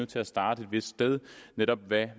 til at starte et vist sted netop hvad